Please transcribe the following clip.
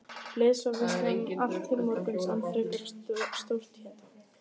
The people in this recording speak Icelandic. Leið svo veislan allt til morguns án frekari stórtíðinda.